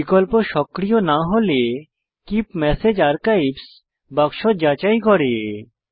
বিকল্প সক্রিয় না হলে কীপ মেসেজ আর্কাইভস বাক্স যাচাই করুন